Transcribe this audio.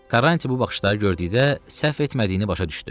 Karrantiya bu baxışları gördükdə səhv etmədiyini başa düşdü.